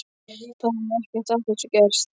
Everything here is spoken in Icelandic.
Þá hefði ekkert af þessu gerst.